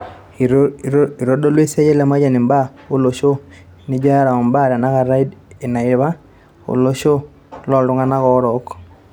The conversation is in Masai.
itodolu esiia e Lemayian imbaa o losho, nijo eara o imbaa e tenakata o iniapa to losho lo iltun'gana oorok